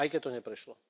Aj keď to neprešlo.